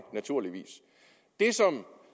naturligvis det som